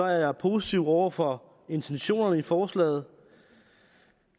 jeg positiv over for intentionerne i forslaget